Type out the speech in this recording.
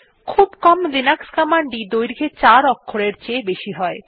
খুব কম লিনাক্স কমান্ডই দৈর্ঘ্যে চার অক্ষরের চেয়ে বেশি হয়